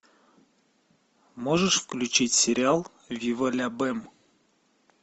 можешь включить сериал вива ля бэм